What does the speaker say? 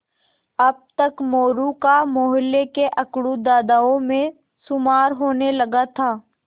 अब तक मोरू का मौहल्ले के अकड़ू दादाओं में शुमार होने लगा था